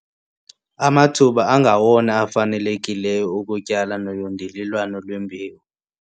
Amathuba angawona afanelekileyo okutyala noyondelelwano lwembewu